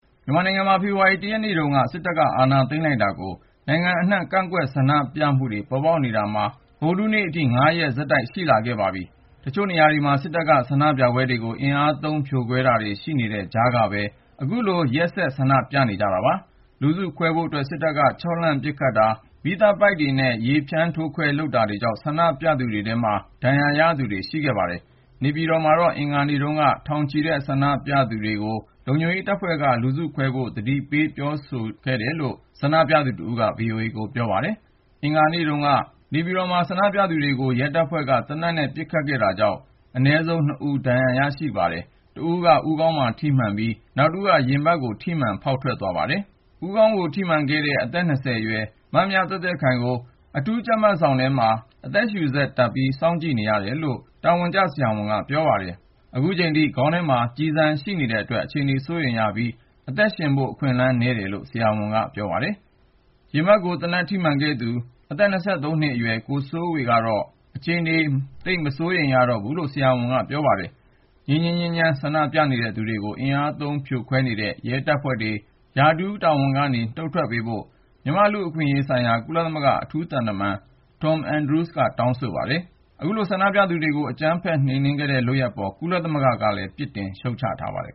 မြန်မာနိုင်ငံမှာ ဖေဖော်ဝါရီ ၁ ရက်နေ့ တုန်းက စစ်တပ်အာဏာ သိမ်းလိုက်တာကို နိုင်ငံအနှံ့ ကန့်ကွက်ဆန္ဒပြမှုတွေ ပေါ်ပေါက်လာနေတာ ဗုဒ္ဓဟူးနေ့အထိ ၅ ရက် ဆက်တိုက်ရှိလာခဲ့ပါပြီ ။ တချို့နေရာတွေမှာ စစ်တပ်က ဆန္ဒပြပွဲတွေကို အင်အားသုံး ဖြိုခွဲတာရှိနေတဲ့ ကြားက အခုလို ရက်ဆက် ဆန္ဒပြနေကြတာပါ။ လူစုခွဲဖို့အတွက် စစ်တပ်က ခြောက်လှန့် ပစ်ခတ်တာ၊ ရာဘာကျည်တွေ၊ မီးသတ်ပိုက်တွေနဲ့ ရေဖြန်းထိုးခွဲတာတွေလုပ်လာတာကြောင့် ဆန္ဒပြသူတွေထဲ ဒဏ်ရာရခဲ့သူတွေလည်း ရှိပါတယ်။ နေပြည်တော်မှာတော့ မနေ့တုန်းက ထောင်နဲ့ချီတဲ့ ငြိမ်းချမ်းစွာ ဆန္ဒပြနေသူတွေကို လုံခြုံရေးတပ်ဖွဲ့က လူစုခွဲဖို့ ဆက်တိုက် သတိပေး ပြောဆိုတယ်လို့ ဆန္ဒပြသူတဦးက VOA ကိုပြောပါတယ်။ အင်္ဂါနေ့တုန်းက နေပြည်တော်မှာဆန္ဒပြသူတွေကို ရဲတပ်ဖွဲ့က သေနတ်နဲ့ ပစ်ခတ်ခဲ့တာကြောင့် အနည်းဆုံး လူ ၂ ဦး ဒဏ်ရာရခဲ့ပါတယ်။ တဦးက ဦးခေါင်းကို သေနတ်ထိမှန်ခဲ့ပြီး နောက်တဦးက ရင်ဘတ်ကို ထိမှန်ခဲ့တာပါ။ ဦးခေါင်းကို သေနတ်ထိမှန်ခဲ့တဲ့ အသက် ၁၉ အရွယ် မမြသွဲ့သွဲ့ခိုင်ကို အခု အထူးကြပ်မတ်ခန်းထဲမှာ အသက်ရှုစက်တပ်ထားပြီး စောင့်ကြည့်နေရတယ်လို့ အမည်မဖော်လိုသူ ဆရာဝန်တဦးက ပြောပါတယ်။ အခုထိ ခေါင်းထဲမှာ ကျည်ဆန်ရှိနေသေးတာကြောင့် အခြေအနေက စိုးရိမ်ရပြီး အသက်ရှင်ဖို့ အခွင့်အလမ်းနည်းတယ်လို့ အဲဒီဆရာဝန်ကပြောပါတယ်။ ရင်ဘတ်ကို သေနတ်ထိမှန်ခဲ့တဲ့သူက အသက် ၂၃ နှစ်အရွယ် ကိုစိုးဝေဖြစ်ပါတယ်။ သူ့အခြေအနေကတော့ မစိုးရိမ်ရတော့ဘူးလို့ ဆရာဝန်က ပြောပါတယ်။ ငြိမ်းငြိမ်းချမ်းချမ်း ဆန္ဒပြနေတဲ့ သူတွေကို အင်အားသုံး ဖြိုခွဲနေတဲ့ ရဲတပ်ဖွဲ့ဝင်တွေ ရာထူးတာဝန်ကနေ နှုတ်ထွက်ပေးဖို့ မြန်မာ့လူ့အခွင့်အရေးဆိုင်ရာ ကုလသမဂ္ဂ အထူးသံတမန် Tom Andrews က တောင်းဆိုခဲ့ပါတယ်။ အခုလို ဆန္ဒပြသူတွေကို အကြမ်းဖက်နှိမ်နှင်းခဲ့တဲ့ လုပ်ရပ်အပေါ် ကုလသမဂ္ဂက ပြစ်တင်ရှုတ်ချထားပါတယ်